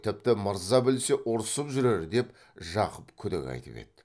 тіпті мырза білсе ұрсып жүрер деп жақып күдік айтып еді